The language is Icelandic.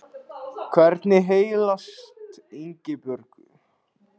Hvernig heilsast Ingibjörgu?